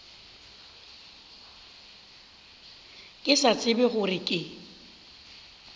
ke sa tsebe gore ke